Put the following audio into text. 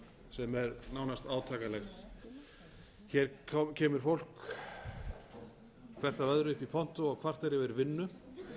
sem er nánast átakanlegt hér kemur fólk hvert af öðru upp í pontu og kvartar yfir vinnu